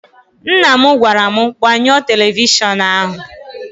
Nna m gwara m, gbanyụọ televishọnụ ahụ!